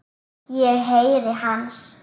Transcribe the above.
Ég heyri hans.